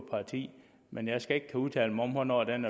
parti men jeg skal ikke kunne udtale mig om hvornår den